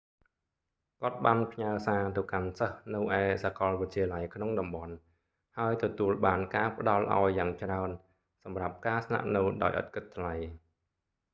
គាត់បានផ្ញើសារទៅកាន់សិស្សនៅឯសាកលវិទ្យាល័យក្នុងតំបន់ ហើយទទួលបានការផ្តល់ឱ្យយ៉ាងច្រើនសម្រាប់ការស្នាក់នៅដោយឥតគិតថ្លៃ